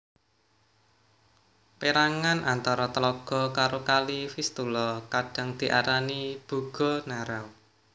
Pérangan antara tlaga karo Kali Vistula kadhang diarani Bugo Narew